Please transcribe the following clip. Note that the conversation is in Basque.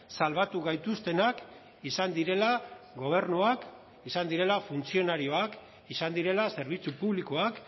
salbatu gaituztenak izan direla gobernuak izan direla funtzionarioak izan direla zerbitzu publikoak